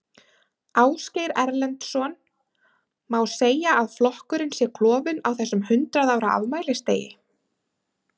Ásgeir Erlendsson: Má segja að flokkurinn sé klofinn á þessum hundrað ára afmælisdegi?